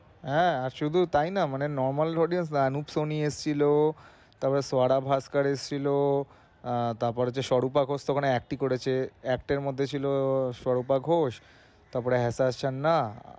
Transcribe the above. হ্যাঁ শুধু তাই নয় মানে normal audience সনি এসেছিলো তারপর ভাস্কর এসেছিলো, আহ তারপর সরুপা ঘোষ তো ওখানে acting করেছে। মধ্যে ছিলো সরুপা ঘোষ তারপরে হেতাস চান্না।